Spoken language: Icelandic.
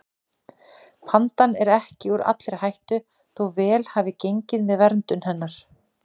Pandan er ekki úr allri hættu þó vel hafi gengið með verndun hennar.